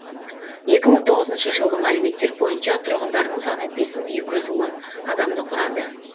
екі мың тоғызыншы жылғы мәліметтер бойынша тұрғындарының саны бес мың екі жүз он адамды құрады